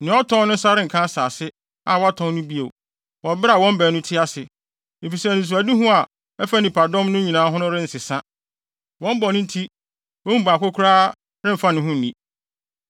Nea ɔtɔn no nsa renka asase a watɔn no bio wɔ bere a wɔn baanu te ase, efisɛ anisoadehu a ɛfa nnipadɔm no nyinaa ho no rensesa. Wɔn bɔne nti, wɔn mu baako koraa remfa ne ho nni.